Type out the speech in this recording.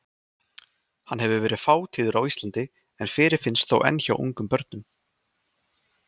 Hann hefur verið fátíður á Íslandi en fyrirfinnst þó enn hjá ungum börnum.